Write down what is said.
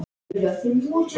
Samt er mér órótt.